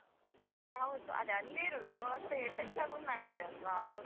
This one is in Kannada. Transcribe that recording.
ಹ್ಮ್ ಹೌದು, ಅದು ಅಲ್ಲೇ ಇರುದು ಮತ್ತೆ effect ಆಗುದು ನಮಗೆ ಅಲ್ವಾ?